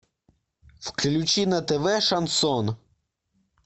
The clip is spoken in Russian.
включи на тв шансон